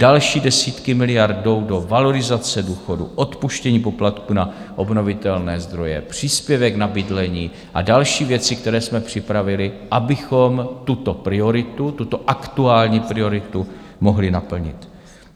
Další desítky miliard jdou do valorizace důchodů, odpuštění poplatků na obnovitelné zdroje, příspěvek na bydlení a další věci, které jsme připravili, abychom tuto prioritu, tuto aktuální prioritu, mohli naplnit.